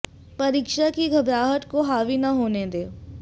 परीक्षा की घबराहट को हावी न होने दें